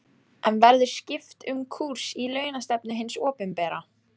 En verður skipt um kúrs í launastefnu hins opinbera?